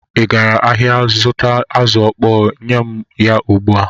Ị gara ahịa zụta azụ̀ ọkpọọ? Nye m ya ugbu a!